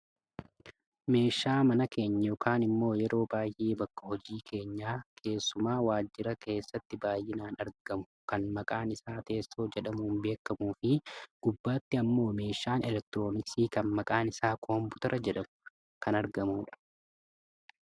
meeshaa mana keenya yookaan ammoo yeroo baayyee bakka hojii keenyaa keessumaa waajira keessatti baayyinaan argamu kan maqaan isaa teessoo jedhamuun beekkamuufi isa gubbaatti ammoo meeshaan eliktirooniks kan maqaan isaa kompuutera jedhamu kan argamudha.